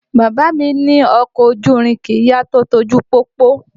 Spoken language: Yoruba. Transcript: Bàbá mí ní ọkọ̀ ojú irin kìí yá tó ti ojú pópó